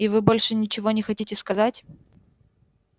и вы больше ничего не хотите сказать